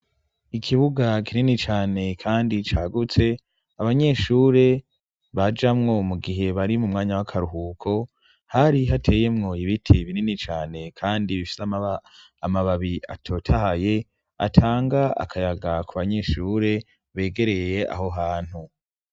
Ikibuga kinini cane kandi cagutse abanyeshure bajamwo mu gihe bari mu mwanya w'akaruhuko, hari hateyemwo ibite binini cane kandi bifise amababi atotahaye, atanga akayaga ku banyeshure begereye aho hantu.